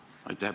Aitäh!